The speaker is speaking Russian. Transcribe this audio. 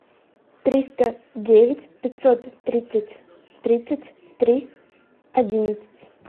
триста девять пятьсот тридцать тридцать три одиннадцать